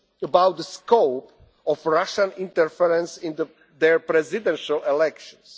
the United States about the scope of Russian interference in their presidential